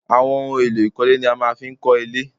Àwọn ohun èlò ìkọ́lé ni a máa fi ń kọ́lé